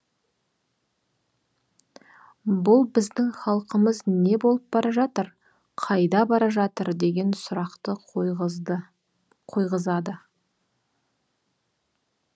бұл біздің халқымыз не болып бара жатыр қайда бара жатыр деген сұрақты қойғызады